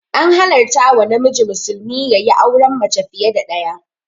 An halarta wa namiji musulmi yayi auren mace fiya da ɗaya